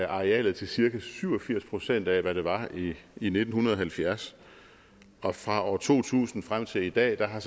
arealet til cirka syv og firs procent af hvad det var i nitten halvfjerds og fra år to tusind og frem til i dag har